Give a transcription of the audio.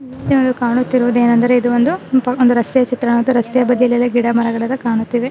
ಏನು ಅದು ಕಾಣುತ್ತಿರುವುದು ಏನೆಂದರೆ ಇದು ಒಂದು ಒಂದು ರಸ್ತೆಯ ಚಿತ್ರ ಮತ್ತು ರಸ್ತೆಯ ಬದಿಯಲ್ಲಿ ಎಲ್ಲ ಗಿಡ ಮರಗಳು ಕಾಣುತ್ತವೆ.